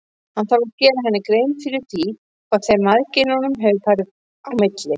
Hann þarf að gera henni grein fyrir því hvað þeim mæðginum hefur farið á milli.